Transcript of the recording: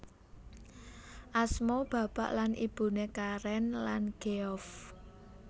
Asma bapak lan ibune Karen lan Geoff